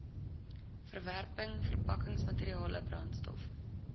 verwerking verpakkingsmateriale brandstof